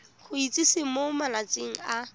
go itsise mo malatsing a